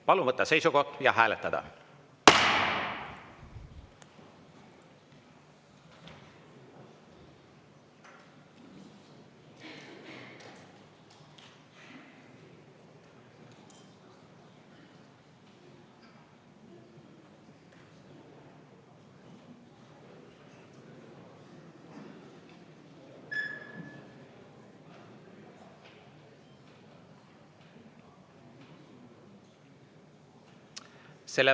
Palun võtta seisukoht ja hääletada!